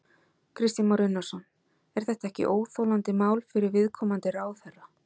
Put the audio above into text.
Kristján Már Unnarsson: Er þetta ekki óþolandi mál fyrir viðkomandi ráðherra?